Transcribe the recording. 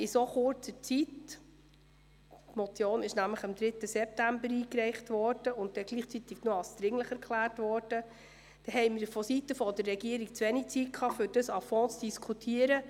In so kurzer Zeit – die Motion wurde am 3. September eingereicht und für dringlich erklärt – hatte die Regierung zu wenig Zeit, ausführlich darüber zu diskutieren.